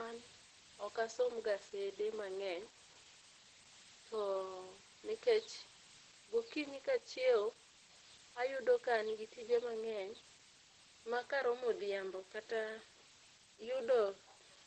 An ok asom gazede mang'eny to kech gokinyi ka achiewo to ayudo ka an gi tije mang'eny ma ka romo odhiambo kata yudo